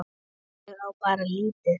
Ég á bara lítið.